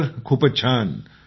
sir खूपच छान